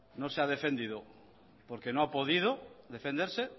no se ha defendido porque no ha podido defenderse